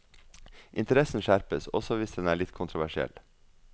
Interessen skjerpes også hvis den er litt kontroversiell.